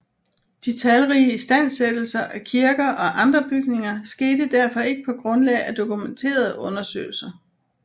De talrige istandsættelser af kirker og andre bygninger skete derfor ikke på grundlag af dokumenterede undersøgelser